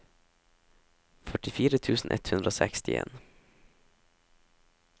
førtifire tusen ett hundre og sekstien